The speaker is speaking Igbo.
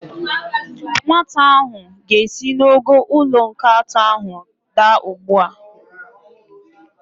Nwata ahụ ga-esi n'ogo ụlọ nke atọ ahụ adaa ugbu a.